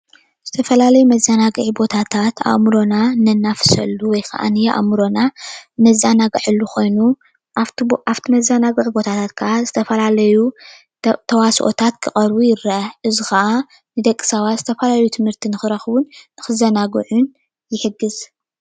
ዝተፈላለዩ መዘናጊዒ ቦታታት ኣእምሮና እነናፍሰሉ ወይ ከዓ ኣእምረኖ እነዘናግዐሉ ኮይኑ ኣብቲ መዘናግዒ ቦታታት ከዓ ዝተፈላለዩ ተዋስኦታት ክቀርቡ ይረአ፡፡ እዚ ከዓ ንደቂ ሰባት ዝፈላለዩ ትምህርቲ ንክረክቡ ንክዘናግዕሉን ይሕግዝ፡፡